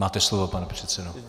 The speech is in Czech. Máte slovo, pane předsedo.